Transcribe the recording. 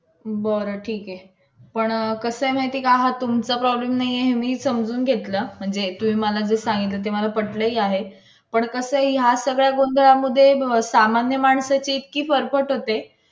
तुम्ही जे बोलता ऐका काय दुसरी बाई ते ऐकणार आहे का तुमचं.